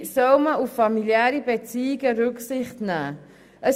Dabei soll auf familiäre Beziehungen Rücksicht genommen werden.